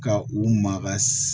Ka u maka